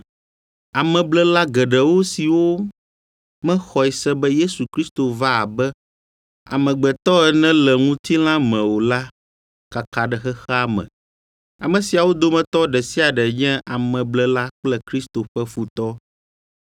Ameblela geɖewo siwo mexɔe se be Yesu Kristo va abe amegbetɔ ene le ŋutilã me o la kaka ɖe xexea me. Ame siawo dometɔ ɖe sia ɖe nye ameblela kple Kristo ƒe futɔ.